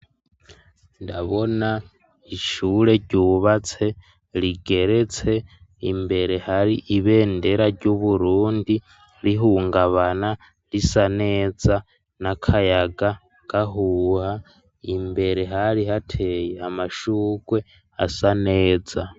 Ndabona ishure ryubatse, rigeretse, imbere hari ibendera, ry'Uburundi rihungabana, risa neza, n'akayaga gahuha; imbere, hari hateye, amashurwe, asa neza.